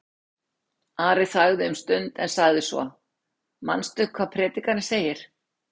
Ari þagði um stund en sagði svo: Manstu hvað Predikarinn segir?